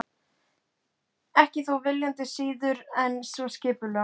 Ekki þó viljandi og síður en svo skipulega.